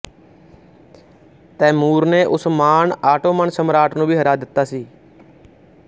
ਤੈਮੂਰ ਨੇ Osman Ottoman ਸਮਰਾਟ ਨੂੰ ਵੀ ਹਰਾ ਦਿੱਤਾ ਸੀ